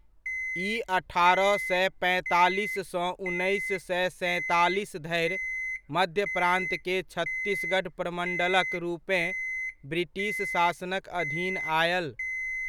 ई अठारह सए पैंतालीस सँ उन्नैस सए सैंतालीस धरि मध्य प्रांत के छत्तीसगढ़ प्रमण्डलक रूपेँ ब्रिटिश शासनक अधीन आयल।